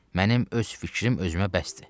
Mənim öz fikrim özümə bəsdir.